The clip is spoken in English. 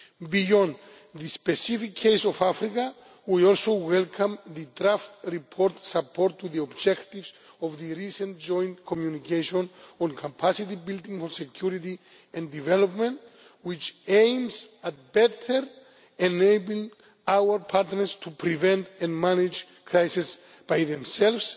Beyond the specific case of Africa, we also welcome the draft report's support for the objectives of the recent Joint Communication on Capacity Building for Security and Development, which aims at better enabling our partners to prevent and manage crises by themselves,